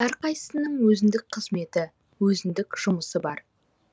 әрқайсысының өзіндік қызметі өзіндік жұмысы бар